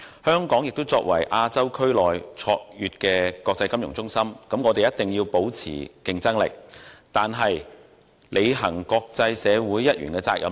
香港作為亞洲區內卓越的國際金融中心，必須保持競爭力，但同時亦有必要履行身為國際社會一員的責任。